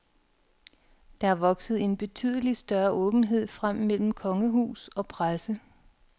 Der er vokset en betydelig større åbenhed frem mellem kongehus og presse.